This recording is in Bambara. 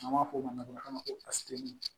N'an b'a fɔ o ma nanzarakan na ko